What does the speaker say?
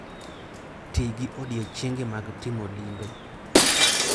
Ti gi odiechienge mag timo limbe.